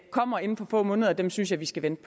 kommer inden for få måneder dem synes jeg vi skal vente